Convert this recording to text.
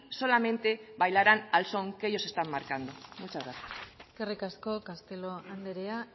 solamente bailarán al son que ellos están marcando muchas gracias eskerrik asko castelo andrea